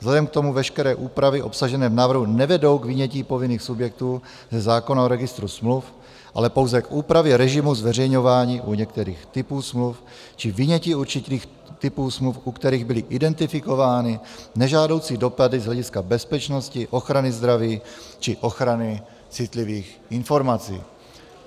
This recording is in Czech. Vzhledem k tomu veškeré úpravy obsažené v návrhu nevedou k vynětí povinných subjektů ze zákona o registru smluv, ale pouze k úpravě režimu zveřejňování u některých typů smluv či vynětí určitých typů smluv, u kterých byly identifikovány nežádoucí dopady z hlediska bezpečnosti, ochrany zdraví či ochrany citlivých informací.